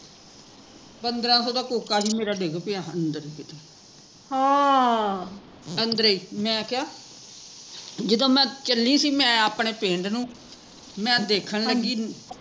ਪੰਦਰਾਂ ਸੋ ਦਾ ਕੋਕਾ ਸੀ ਮੇਰਾ ਡਿੱਗ ਪਿਆ ਅੰਦਰ ਈ ਕਿਤੇ ਅੰਦਰੇ, ਮੈਂ ਕਿਹਾ ਜਦੋਂ ਮੈਂ ਚੱਲੀ ਸੀ ਅਪਣੇ ਪਿੰਡ ਨੂ ਮੈਂ ਦੇਖਣ ਲੱਗੀ